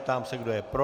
Ptám se, kdo je pro.